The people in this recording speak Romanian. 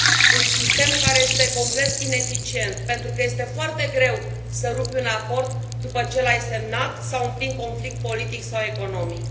un sistem care este complet ineficient pentru că este foarte greu să rupi un acord după ce l ai semnat sau în plin conflict politic sau economic.